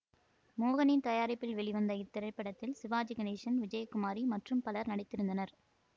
மோகனின் தயாரிப்பில் வெளிவந்த இத்திரைப்படத்தில் சிவாஜி கணேசன் விஜயகுமாரி மற்றும் பலர் நடித்திருந்தனர்